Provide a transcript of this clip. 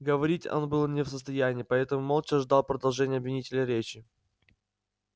говорить он был не в состоянии поэтому молча ждал продолжения обвинителя речи